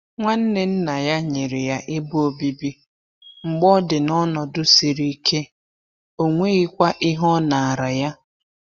Nwanne nna ya nyere ya ebe obibi mgbe ọ dị n’ọnọdụ ego siri ike, ọ nweghịkwa ihe ọ nara ya.